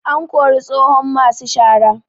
An kori tsohon masu shara